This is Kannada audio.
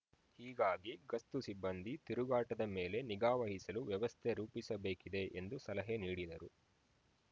ಹೀಗಾಗಿ ಗಸ್ತು ಸಿಬ್ಬಂದಿ ತಿರುಗಾಟದ ಮೇಲೆ ನಿಗಾವಹಿಸಲು ವ್ಯವಸ್ಥೆ ರೂಪಿಸಬೇಕಿದೆ ಎಂದು ಸಲಹೆ ನೀಡಿದರು